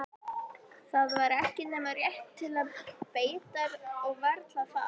Það var ekki nema rétt til beitar og varla það.